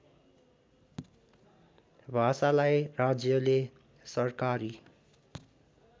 भाषालाई राज्यले सरकारी